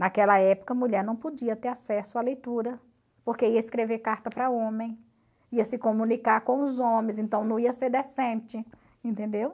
Naquela época a mulher não podia ter acesso à leitura, porque ia escrever carta para homem, ia se comunicar com os homens, então não ia ser decente, entendeu?